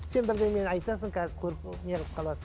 сен бірдемені айтасың қазір көріп і неғып қаласың